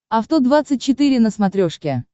авто двадцать четыре на смотрешке